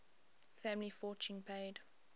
family fortune paid